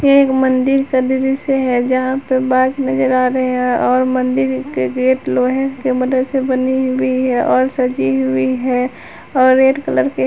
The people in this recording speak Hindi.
एक मंदिर का दृश्य है जहां पे बांस नजर आ रहे हैं और मंदिर के गेट लोहे के मदद से बनी हुई है और सजी हुई है और रेड कलर के ह--